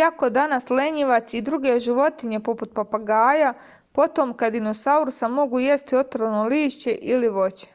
иако данас лењивац и друге животиње попут папагаја потомка диносауруса могу јести отровно лишће или воће